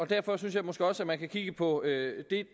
derfor synes jeg måske også man kan kigge på